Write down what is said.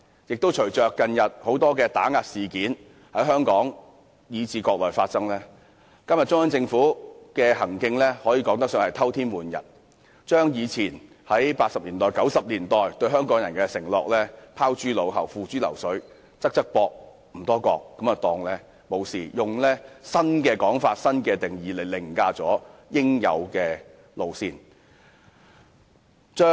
觀乎近日在香港和國內發生的多宗打壓事件，中央政府的行徑可說是偷天換日，把以前在1980年代、1990年代對香港人的承諾拋諸腦後，付諸流水，"側側膊，唔多覺"便當作無事，以新的說法和定義來凌駕應有的路線。